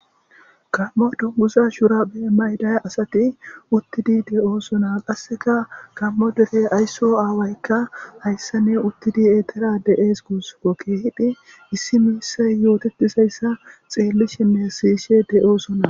gammo dummuza shura be maydaya asati uttidi de7oosona qasseka kammo derey aysso aawaykka hayssa ne uttidi etera de7ees gusuko keehidi issi miissay yootetisayssa xeelli shime sishe de7oosona